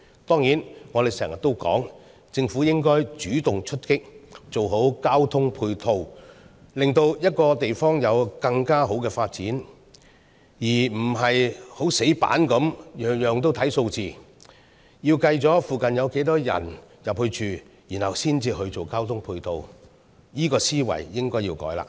當然，我們經常也說，政府應該主動出擊，做好交通配套，令一個地方有更好的發展，而非死板地每件事物也只看數字，要計算附近有多少人前往居住，然後才進行交通配套，這個思維應該要改變了。